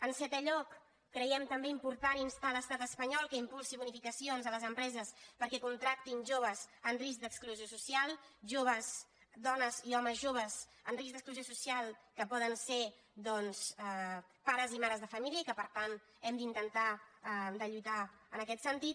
en setè lloc creiem també important instar l’estat es·panyol que impulsi bonificacions a les empreses per·què contractin joves en risc d’exclusió social dones i homes joves en risc d’exclusió social que poden ser doncs pares i mares de família i que per tant hem d’intentar lluitar en aquest sentit